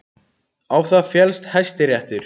Á það féllst Hæstiréttur